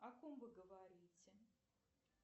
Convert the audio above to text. о ком вы говорите